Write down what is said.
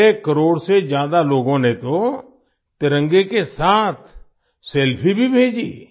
6 करोड़ से ज्यादा लोगों ने तो तिरंगे के साथ सेल्फी भी भेजीं